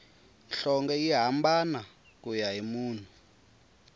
nhlonge yi hambana kuya hi munhu